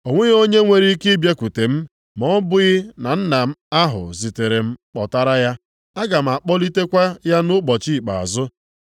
O nweghị onye nwere ike ịbịakwute m ma ọ bụghị na Nna ahụ zitere m kpọtara ya, aga m akpọlitekwa ya nʼụbọchị ikpeazụ.